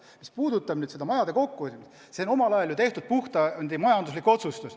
Mis puudutab nüüd neid ühiseid maju, siis see on ju omal ajal tehtud puhtalt majanduslik otsustus.